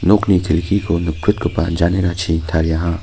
nokni kelkiko nikprotgipa janerachi tariaha.